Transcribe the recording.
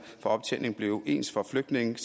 for optjening blev ens for flygtninge